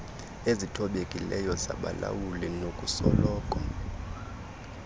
ezithobekileyo zabalawuli nokusoloko